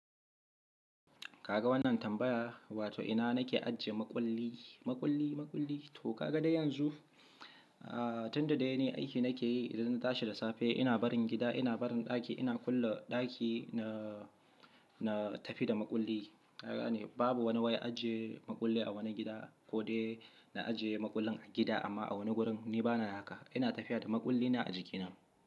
Ka ga wannan tambaya, wato ina nake ajiye maƙulli, maƙulli, maƙulli? To ka ga dai yanzu, tunda dai ni aiki nake yi, idan na tashi da safe ina barin gida, ina barin ɗaki, ina kulle ɗaki na, na tafi da maƙulli. Ka gane, babu wani wai ajiye maƙulli a wani gida ko dai na ajiye maƙullin a gida amma a wani wurin ni bana haka. Ina tafiya da maƙullina a jikina.